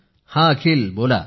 हं अखिल बोला